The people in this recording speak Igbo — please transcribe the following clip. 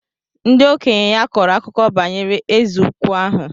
Ndị okenye ya kọrọ akụkọ banyere Eze ukwu ahụ.